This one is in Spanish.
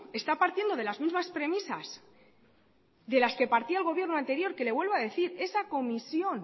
está partiendo de las mismas premisas de las que partía el gobierno anterior que le vuelvo a decir de esa comisión